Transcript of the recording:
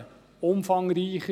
Ich fasse mich kurz.